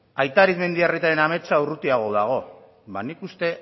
aita arizmendiarrietaren ametsa urrutiago dago ba nik uste